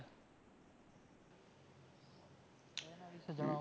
એના વિશે જણાવો